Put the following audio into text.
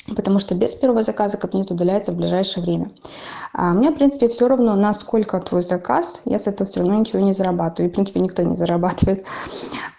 потому что без первого заказа кабинет удаляется в ближайшее время мне в принципе все равно на сколько твой заказ я с этого все равно ничего не зарабатываю и в принципе никто не зарабатывает